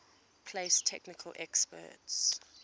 place technical experts